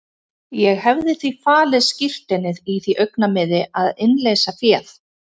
Ég hefði því falið skírteinið í því augnamiði að innleysa féð.